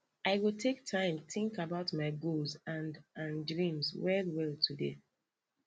i go take time think about my goals and and dreams well well today